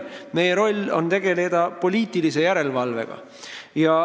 Meie roll on tegeleda poliitilise järelevalvega.